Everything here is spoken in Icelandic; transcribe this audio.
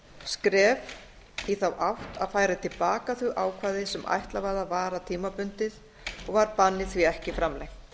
skref í þá átt að færa til baka þau ákvæði sem ætlað var að vara tímabundið og var bannið því ekki framlengt